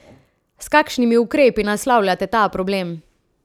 S kakšnimi ukrepi naslavljate ta problem?